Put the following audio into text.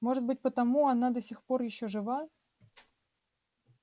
может быть потому она до сих пор ещё жива